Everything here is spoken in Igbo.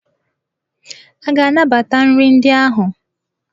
A ga-anabata nri ndị ahụ?